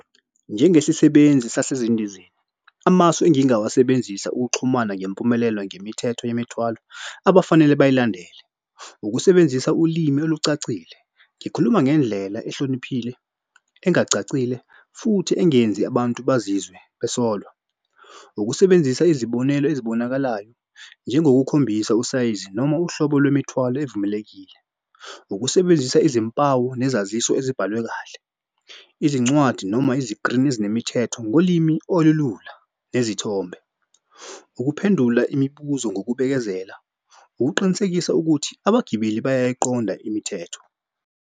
Njengesisebenzi sasezindizeni, amasu engingawasebenzisa ukuxhumana ngempumelelo ngemithetho yemithwalo abafanele bayilandele ukusebenzisa ulimi olucacile. Ngikhuluma ngendlela ehloniphile engacacile futhi engenzi abantu bazizwe besolwa. Ukusebenzisa izibonelo ezibonakalayo njengokukhombisa usayizi noma uhlobo lwemithwalo evumelekile. Ukusebenzisa izimpawu nezaziso ezibhalwe kahle. Izincwadi noma izikrini ezinemithetho ngolimi olulula nezithombe. Ukuphendula imibuzo ngokubekezelela ukuqinisekisa ukuthi abagibeli bayayiqonda imithetho.